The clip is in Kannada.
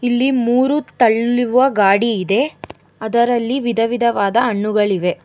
ಇಲ್ಲಿ ಮೂರು ತಳ್ಳುವ ಗಾಡಿ ಇದೆ ಅದರಲ್ಲಿ ವಿಧವಿಧವಾದ ಹಣ್ಣುಗಳಿವೆ.